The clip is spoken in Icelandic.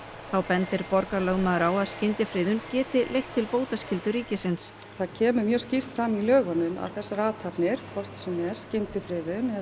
þá bendir borgarlögmaður á að skyndifriðun geti leitt til bótaskyldu ríkisins það kemur mjög skýrt fram í lögunum að þessar athafnir hvort sem er skyndifriðun eða